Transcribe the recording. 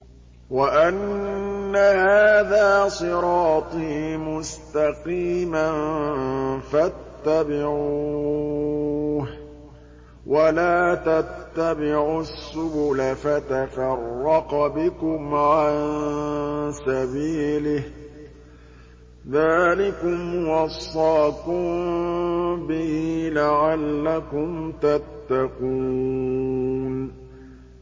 وَأَنَّ هَٰذَا صِرَاطِي مُسْتَقِيمًا فَاتَّبِعُوهُ ۖ وَلَا تَتَّبِعُوا السُّبُلَ فَتَفَرَّقَ بِكُمْ عَن سَبِيلِهِ ۚ ذَٰلِكُمْ وَصَّاكُم بِهِ لَعَلَّكُمْ تَتَّقُونَ